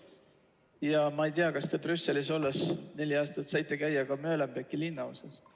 Ja ma ei tea, kas te neli aastat Brüsselis olles saite käia ka Molenbeeki linnaosas.